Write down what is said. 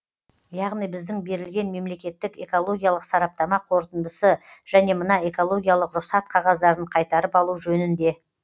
яғни біздің берілген мемлекеттік экологиялық сараптама қорытындысы және мына экологиялық рұқсат қағаздарын қайтарып алу жөнінде